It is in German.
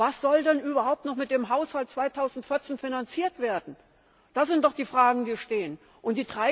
Was soll denn überhaupt noch mit dem Haushalt 2014 finanziert werden? Das sind doch die Fragen, die gestellt werden müssen.